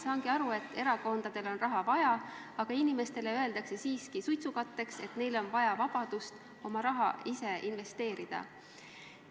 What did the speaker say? Saangi aru, et erakondadel on raha vaja, aga inimestele öeldakse siiski suitsukatteks, et neile on vaja vabadust oma raha ise investeerida.